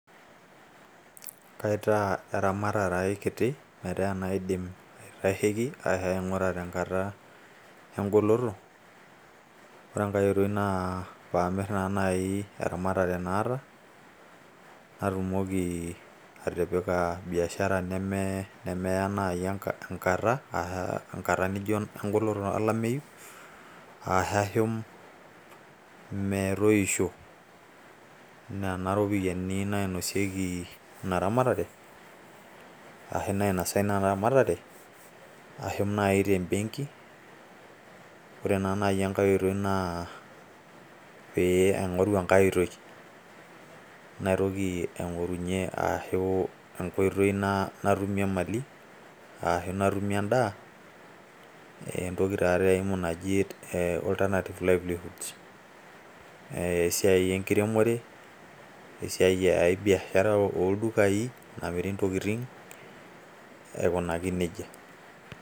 kaitaa eramatare ai kiti metaa enaidim aitasheki. ashu aing'ura te nkata egoloto, ore enkae oitoi naa pee amir naa naaji eramatare naata, natumoki atipiki biashara, nemeya naaji enkata olameyu, ashu ashu metoisho. nena ropiyiani nainosieki ina ramatare, ashu naaji te benki. ore naa naaji enake otoi naa aingoru enkae oitoi naitoki aingorunye. ashu enkoitoi natumie kulie daikini, esiai enkiremore, esiaia ooldukai, namiri idaikin aikunaki nejia.